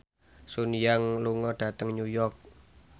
Sun Yang lunga dhateng New York